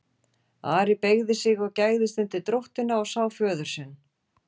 Ari beygði sig og gægðist undir dróttina og sá föður sinn.